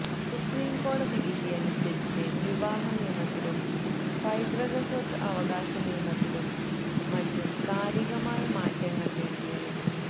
സുപ്രീംകോടതി വിധിയനുസരിച്ച് വിവാഹനിയമത്തിലും പൈതൃകസ്വത്ത് അവകാശ നിയമത്തിലും മറ്റും കാലികമായ മാറ്റങ്ങൾ വേണ്ടിവരും